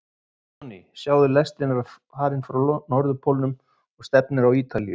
Herra Johnny, sjáðu, lestin er farin frá Norðurpólnum og stefnir á Ítalíu.